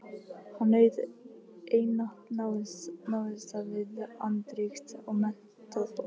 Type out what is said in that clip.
Hann naut einatt návista við andríkt og menntað fólk.